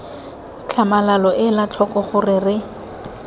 tlhamalalo ela tlhoko gore re